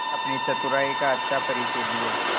अपनी चतुराई का अच्छा परिचय दिया